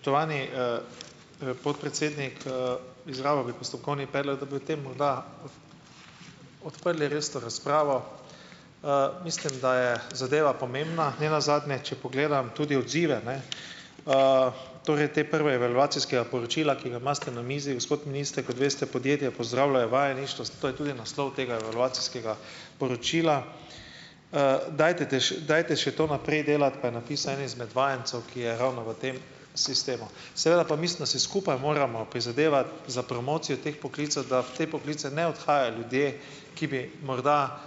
Spoštovani, podpredsednik, izrabil bi postopkovni predlog, da bi o tem morda odprli resno razpravo. Mislim, da je zadeva pomembna. Ne nazadnje, če pogledam tudi odzive, ne, torej te prve evalvacijskega poročila, ki ga imate na mizi, gospod minister, kot veste, podjetja pozdravljajo vajeništvo, zato je tudi naslov tega evalvacijskega poročila. Dajte, dajte še to naprej delati, pa je napisal en izmed vajencev, ki je ravno v tem sistemu. Seveda pa mislim, da si skupaj moramo prizadevati za promocijo teh poklicev, da v te poklice ne odhajajo ljudje, ki bi morda,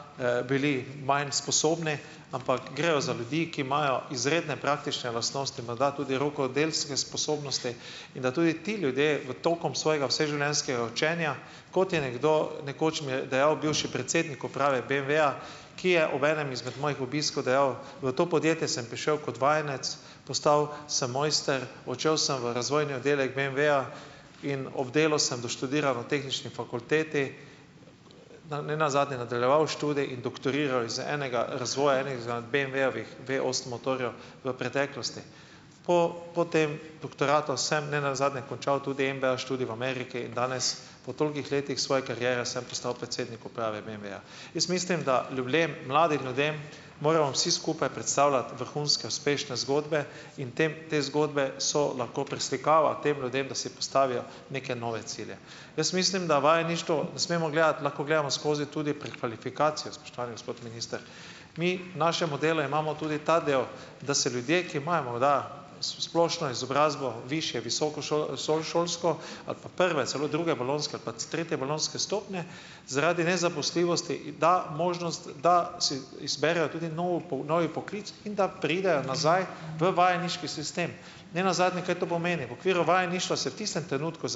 bili manj sposobni, ampak grejo za ljudi, ki imajo izredne praktične lastnosti, morda tudi rokodelske sposobnosti, in da tudi ti ljudje v tokom svojega vseživljenjskega učenja, kot je nekdo, nekoč mi je dejal bivši predsednik uprave BMW-ja, ki je ob enem izmed mojih obiskov dejal: "V to podjetje sem prišel kot vajenec, postal sem mojster, odšel sem v razvojni oddelek BMW-ja in ob delu sem doštudiral na tehnični fakulteti, na ne nazadnje nadaljeval študij in doktoriral iz enega razvoja enih izmed BMW-jevih Vosem motorjev v preteklosti. Po po tem doktoratu sem ne nazadnje končal tudi MBA študij v Ameriki in danes po tolikih letih svoje kariere sem postal predsednik uprave BMW-ja." Jaz mislim, da lublem, mladim ljudem moramo vsi skupaj predstavljati vrhunske uspešne zgodbe in tem te zgodbe so lahko preslikava tem ljudem, da si postavijo neke nove cilje. Jaz mislim, da vajeništvo ne smemo gledati, lahko gledamo skozi tudi prekvalifikacijo, spoštovani gospod minister. Mi v našem modelu imamo tudi ta del, da se ljudje, ki imajo morda splošno izobrazbo višje, visokošolsko ali pa prve celo, druge bolonjske ali pa tretje bolonjske stopnje, zaradi nezaposljivosti da možnost, da si izberejo tudi nov novi poklic in da preidejo nazaj v vajeniški sistem. Ne nazadnje kaj to pomeni? V okviru vajeništva se v tistem trenutku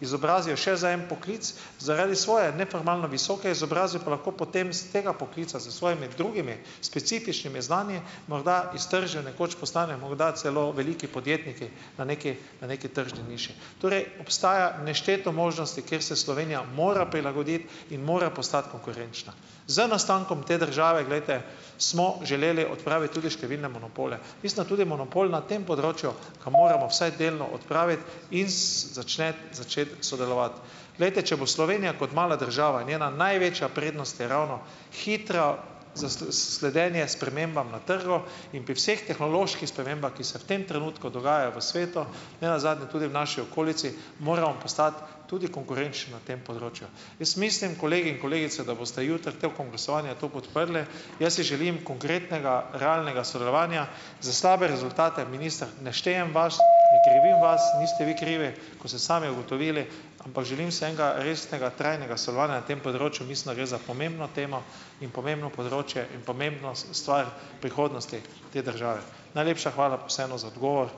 izobrazijo še za en poklic, zaradi svoje neformalno visoke izobrazbe pa lahko potem s tega poklica z svojimi drugimi specifičnimi znanji morda iztržijo, nekoč postanejo morda celo veliki podjetniki na neki, na neki tržni niši. Torej obstaja nešteto možnosti, kjer se Slovenija mora prilagoditi in mora postati konkurenčna. Z nastankom te države, glejte, smo želeli odpraviti tudi številne monopole. Mislim, tudi monopol na tem področju ga moramo vsaj delno odpraviti in začnet začeti sodelovati. Glejte, če bo Slovenija kot mala država, njena največja prednost je ravno hitra sledenje spremembam na trgu in pri vseh tehnoloških spremembah, ki se v tem trenutku dogajajo v svetu, ne nazadnje tudi v naši okolici, moramo postati tudi konkurenčni na tem področju. Jaz mislim, kolegi in kolegice, da boste jutri tekom glasovanja to podprli. Jaz si želim konkretnega, realnega sodelovanja, za slabe rezultate, minister, ne štejem vas, ne krivim vas, niste vi krivi, kot ste sami ugotovili, ampak želim si enega resnega, trajnega sodelovanja na tem področju. Mislim, da gre za pomembno temo in pomembno področje in pomembno stvar prihodnosti te države. Najlepša hvala pa vseeno za odgovor.